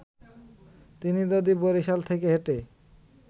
তিনি যদি বরিশাল থেকে হেঁটে